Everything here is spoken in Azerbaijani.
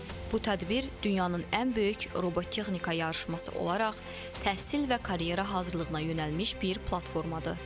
Bu tədbir dünyanın ən böyük robotexnika yarışması olaraq təhsil və karyera hazırlığına yönəlmiş bir platformadır.